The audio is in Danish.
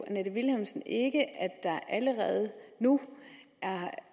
annette vilhelmsen ikke at der allerede nu er